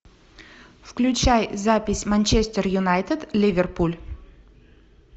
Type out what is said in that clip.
включай запись манчестер юнайтед ливерпуль